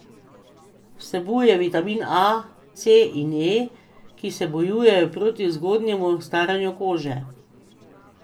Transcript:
Vsebuje vitamine A, C in E, ki se bojujejo proti zgodnjemu staranju kože.